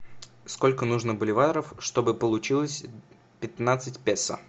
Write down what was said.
сколько нужно боливаров чтобы получилось пятнадцать песо